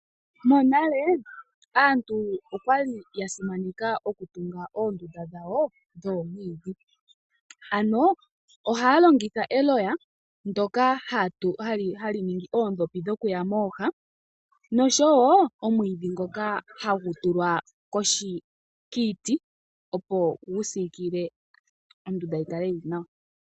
Aantu monale okwa li yasimanekwa okutunga oondunda dhawo dhoomwiidhi ano ohaya longitha eloya , ndyoka hali ningi oondhopi dhokuya mooha noshowoo omwiidhi ngoka hagu tulwa kiiti opo gusiikile ondunda yikale yili nawa .